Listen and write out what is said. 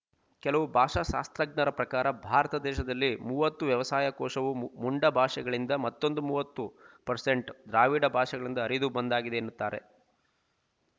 ಕೆಲವು ಭಾಷಾಶಾಸ್ತ್ರಜ್ಞರ ಪ್ರಕಾರ ಭಾರತದೇಶದಲ್ಲಿ ಮೂವತ್ತು ವ್ಯವಸಾಯ ಕೋಶವು ಮುಂಡಾ ಭಾಷೆಗಳಿಂದ ಮತ್ತೊಂದು ಮೂವತ್ತು ಪರ್ಸೆಂಟ್ ದ್ರಾವಿಡ ಭಾಷೆಗಳಿಂದ ಹರಿದು ಬಂದುದಾಗಿದೆ ಎನ್ನುತ್ತಾರೆ